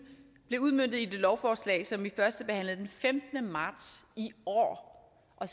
blev udmøntet i det lovforslag som vi førstebehandlede den femtende marts i år